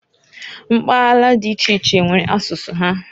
Mbala di iche iche, nwere asụsụ ha.